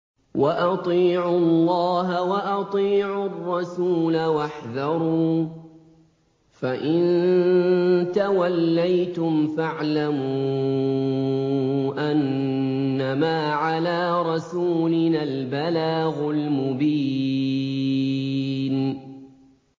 وَأَطِيعُوا اللَّهَ وَأَطِيعُوا الرَّسُولَ وَاحْذَرُوا ۚ فَإِن تَوَلَّيْتُمْ فَاعْلَمُوا أَنَّمَا عَلَىٰ رَسُولِنَا الْبَلَاغُ الْمُبِينُ